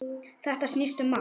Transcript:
Þetta snýst um margt.